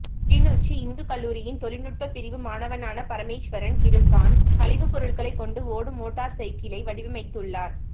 கிளிநொச்சி இந்துக்கல்லூரியின் தொழில்நுட்ப பிரிவு மாணவனான பரமேஸ்வரன் கிருசான் கழிவு பொருட்களை கொண்டு ஓடும் மோட்டார் சைக்கிளை வடிவமைத்துள்ளார்